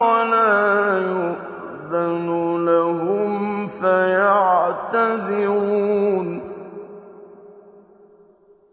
وَلَا يُؤْذَنُ لَهُمْ فَيَعْتَذِرُونَ